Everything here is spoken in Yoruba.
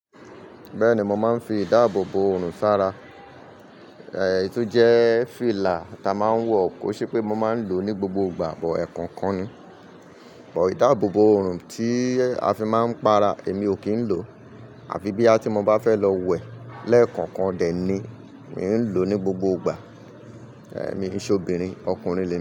Bẹ́ẹ̀ni, mo máa ń fi ìdáàbòbò òòrùn sára. Èyí to jẹ́ fìlà ta máa ń wọ̀, kó ṣe pé mo máa ń lò ó ní gbogbo ìgbà but ekọ̀ọ̀kan ni. Ìdáàbòbò òòrùn tí a fi máa ń para èmi ò kí ń lò. Àfi bí à tí mo bá fẹ́ lọ wẹ̀ lẹ́ẹ̀kọ̀ọ̀kan dẹ̀ ni, mi n lò ó ní gbogbo ìgbà. Èmi ki n ṣe obìnrin, ọkùnrin ni mi.